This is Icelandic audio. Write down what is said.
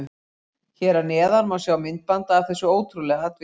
Hér að neðan má sjá myndband af þessu ótrúlega atviki.